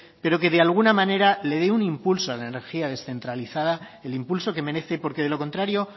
pero que de alguna manera le dé un impulso a la energía descentralizada el impulso que merece porque de lo contrario